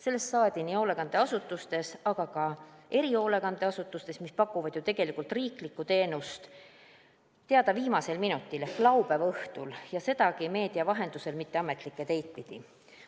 Sellest saadi nii hoolekandeasutustes kui ka erihoolekandeasutustes, mis pakuvad ju tegelikult riiklikku teenust, teada viimasel minutil ehk laupäeva õhtul ja sedagi meedia vahendusel, mitte ametlikke teid pidi.